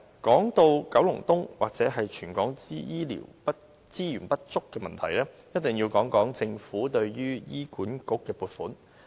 說到九龍東或全港醫療資源不足的問題，一定要談談政府對醫院管理局的撥款。